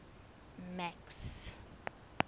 max